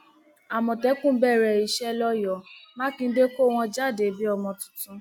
àmọtẹkùn bẹrẹ iṣẹ lọyọọ mákindé kọ wọn jáde bíi ọmọ tuntun